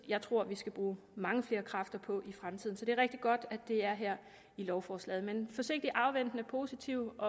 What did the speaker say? jeg tror vi skal bruge mange flere kræfter på i fremtiden så det er rigtig godt at det er her i lovforslaget men forsigtig afventende og positiv